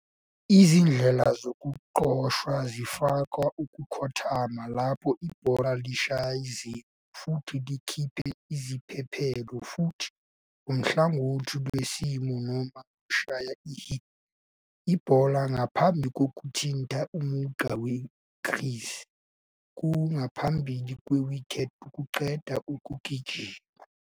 Izindlela zokuxoshwa zifaka ukukhothama, lapho ibhola lishaya iziqu futhi likhiphe izibhebhelo, futhi ngohlangothi lwensimu noma lushaya i-hit ibhola ngaphambi kokuthinta umugqa we-crease ku ngaphambili kwe-wicket ukuqeda ukugijima.